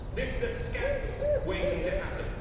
This is a scandal waiting to happen.